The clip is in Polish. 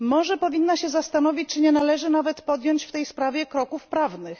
Może powinna się zastanowić, czy nie należy nawet podjąć w tej sprawie kroków prawnych.